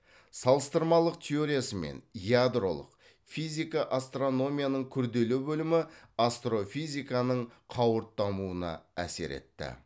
салыстырмалық теориясы мен ядролық физика астрономияның күрделі бөлімі астрофизиканың қауырт дамуына әсер етті